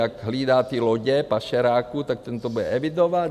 jak hlídá ty lodě pašeráků, tak ten to bude evidovat?